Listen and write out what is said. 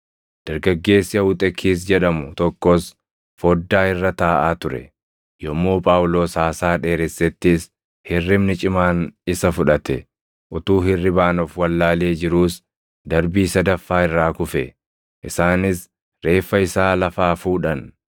Dargaggeessi Awuxekiis jedhamu tokkos foddaa irra taaʼaa ture; yommuu Phaawulos haasaa dheeressettis hirribni cimaan isa fudhate; utuu hirribaan of wallaalee jiruus darbii sadaffaa irraa kufe; isaanis reeffa isaa lafaa fuudhan.